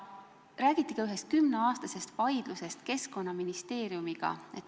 Räägiti ka ühest kümneaastasest vaidlusest Keskkonnaministeeriumiga.